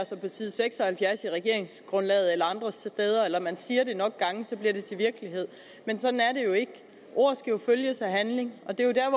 sig på side seks og halvfjerds i regeringsgrundlaget eller andre steder eller man siger det nok gange bliver det til virkelighed men sådan er det jo ikke ord skal følges af handling og det er jo der